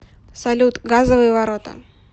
салют газовые ворота